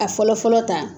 A fɔlɔ fɔlɔ ta